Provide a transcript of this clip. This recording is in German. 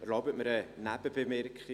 Erlauben Sie mir eine Nebenbemerkung: